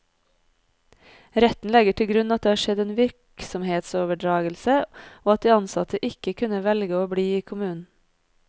Retten legger til grunn at det har skjedd en virksomhetsoverdragelse, og at de ansatte ikke kunne velge å bli i kommunen.